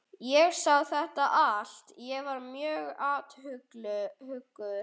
Ég sá þetta allt- ég var mjög athugull.